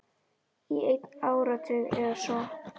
Í einn áratug eða svo.